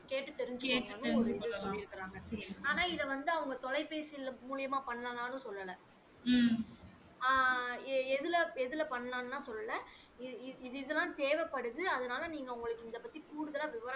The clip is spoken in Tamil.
கேட்டு தெரிஞ்சிக்கோங்கனு சொல்லி இருக்காங்க ஆனா இத வந்து அவங்க தொலைபேசி மூலியமா பண்ணலாம்னு சொல்ல அஹ் எதுல பன்னலனுலா சொல்ல இது இதுலாம் தேவைப்படுது அதனால நீங்க உங்களுக்கு இந்த இத பத்தி கூடுதலா விவரம்